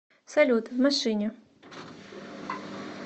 салют в машине